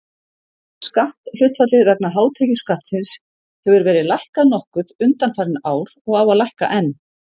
Skatthlutfallið vegna hátekjuskattsins hefur verið lækkað nokkuð undanfarin ár og á að lækka enn.